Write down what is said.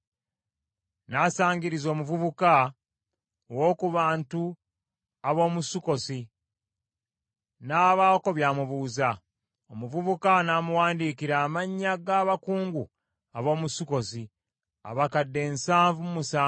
N’asangiriza omuvubuka ow’oku bantu ab’omu Sukkosi, n’abaako by’amubuuza. Omuvubuka n’amuwandiikira amannya g’abakungu ab’omu Sukkosi, abakadde nsanvu mu musanvu.